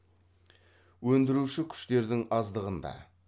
өндіруші күштердің аздығында